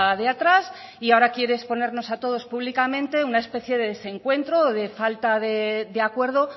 de atrás y ahora quiere exponernos a todos públicamente una especie de desencuentro o de falta de acuerdo